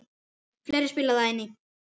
Fleira spilar þar inn í.